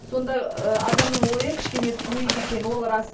сонда ы адамның ойы кішкене суиды екен ол рас